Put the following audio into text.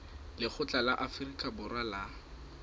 lekgotla la afrika borwa la